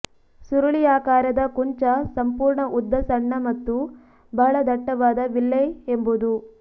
ಸುರುಳಿಯಾಕಾರದ ಕುಂಚ ಸಂಪೂರ್ಣ ಉದ್ದ ಸಣ್ಣ ಮತ್ತು ಬಹಳ ದಟ್ಟವಾದ ವಿಲ್ಲೈ ಎಂಬುದು